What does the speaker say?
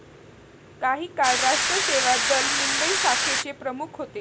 काही काळ राष्ट्र सेवा दल, मुंबई शाखेचे प्रमुख होते.